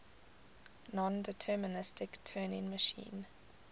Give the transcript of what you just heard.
nondeterministic turing machine